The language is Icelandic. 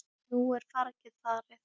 Nú er fargið farið.